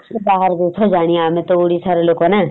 ବାହାର ଦେଶର ଯାଣିଆ ଆମେତ ଓଡିଶାର ଲୋକ ନା ?